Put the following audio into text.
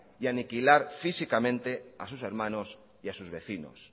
y aniquilar físicamente a sus hermanos y a sus vecinos